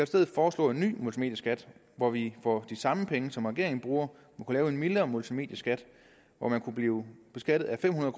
stedet foreslå en ny multimedieskat hvor vi for de samme penge som regeringen bruger kunne lave en mildere multimedieskat hvor man kunne blive beskattet af fem hundrede